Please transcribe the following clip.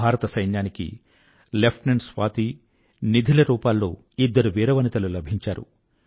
భారత సైన్యానికి లెఫ్టేనెంట్ స్వాతి నిధి ల రూపాల్లో ఇద్దరు వీర వనితలు లభించారు